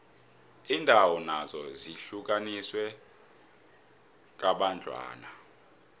iindawo nazo zihlukaniswe kambadlwana